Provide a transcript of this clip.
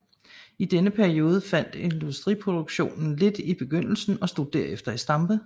I denne periode faldt industriproduktionen lidt i begyndelsen og stod derefter i stampe